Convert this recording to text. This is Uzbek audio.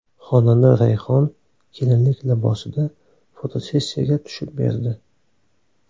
Xonanda Rayhon kelinlik libosida fotosessiyaga tushib berdi .